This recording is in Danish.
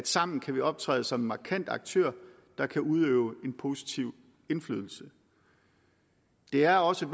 sammen kan optræde som en markant aktør der kan udøve en positiv indflydelse det er også